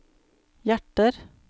hjerter